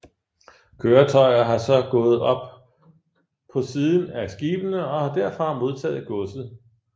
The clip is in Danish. Køretøjer har så gået op på siden af skibene og derfra modtaget godset